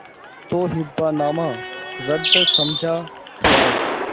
तो हिब्बानामा रद्द समझा जाय